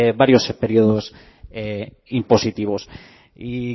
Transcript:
varios periodos impositivos y